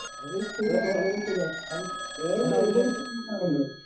അത് ശരിയാണ് വളരെ ശരിയാണ് അത് അതനുഭവിച്ചറിയുന്നതാണ് നമ്മൾ.